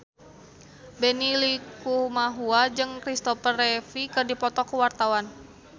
Benny Likumahua jeung Christopher Reeve keur dipoto ku wartawan